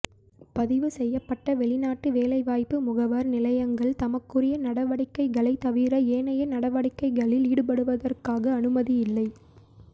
பதிவு செய்யப்பட்ட வெளிநாட்டு வேலை வாய்ப்பு முகவர் நிலையங்கள் தமக்குரிய நடவடிக்கைகளைத் தவிர ஏனைய நடவடிக்கைகளில் ஈடுபடுவதற்கான அனுமதி இல்லை